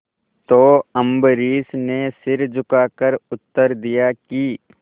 तो अम्बरीश ने सिर झुकाकर उत्तर दिया कि